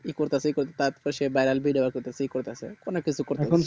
তার পাশে viral video আছে তো কি করতেছে অনেক কিছু কথা